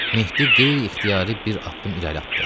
Mehdi qeyri-ixtiyari bir addım irəli atdı.